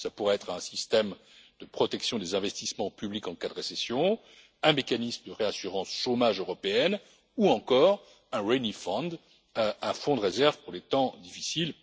Cela pourrait être un système de protection des investissements publics en cas de récession, un mécanisme de réassurance chômage européenne ou encore un rainy day fund un fonds de réserve pour les temps difficiles.